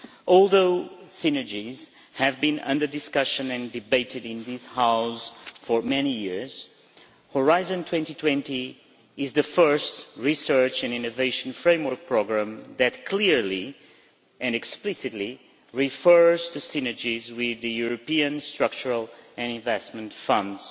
Although synergies have been under discussion and debated in this House for many years, Horizon 2020 is the first research and innovation framework programme that clearly and explicitly refers to synergies with the European structural and investment funds.